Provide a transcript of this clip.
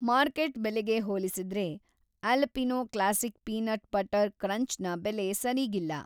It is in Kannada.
ಮಾರ್ಕೆಟ್‌ ಬೆಲೆಗೆ ಹೋಲಿಸಿದ್ರೆ Alpino classic peanut butter crunch ನ ಬೆಲೆ ಸರೀಗಿಲ್ಲ.